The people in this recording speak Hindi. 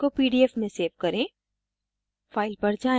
अब उसी file को pdf में सेव करें